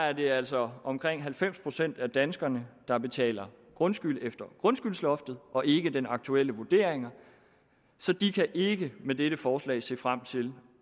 er det altså omkring halvfems procent af danskerne der betaler grundskyld efter grundskyldsloftet og ikke den aktuelle vurdering så de kan ikke med dette forslag se frem til